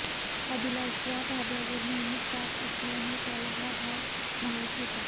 अभिलाष या ढाब्यावर नेहमी जात असल्याने त्याला हा भाग माहित होता